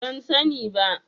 Ban sani ba.